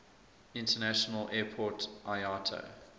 international airport iata